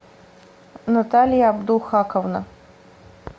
наталья абдухаковна